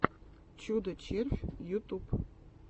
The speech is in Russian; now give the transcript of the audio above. чудо червь ютюб